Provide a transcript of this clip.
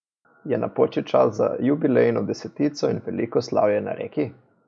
Je napočil čas za jubilejno desetico in veliko slavje na Reki?